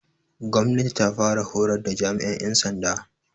Gwamnati ta fara horar da jami'an yan sanda